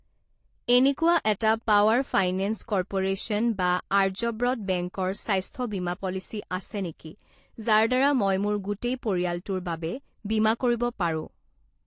এনেকুৱা এটা power finance corporation বা আৰ্যব্ৰত বেংকৰ স্বাস্থ্য বীমা পলিচী আছে নেকি যাৰ দ্বাৰা মই মোৰ গোটেই পৰিয়ালটোৰ বাবে বীমা কৰিব পাৰোঁ?